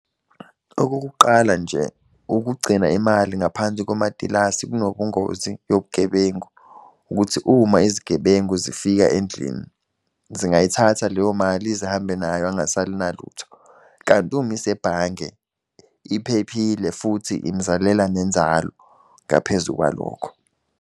Okokuqala nje, ukugcina imali ngaphansi komatilasi kunobungozi yobugebengu. Ukuthi uma izigebengu zifika endlini zingayithatha leyo mali zihambe nayo angasali nalutho. Kanti uma isebhange, iphephile futhi imzalela nenzalo ngaphezu kwalokho.